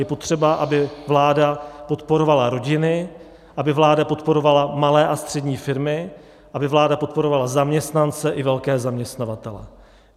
Je potřeba, aby vláda podporovala rodiny, aby vláda podporovala malé a střední firmy, aby vláda podporovala zaměstnance i velké zaměstnavatele.